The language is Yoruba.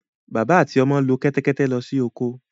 Bàbá àti ọmọ lo kẹ́tẹ́kẹtẹ́ lọ sí oko.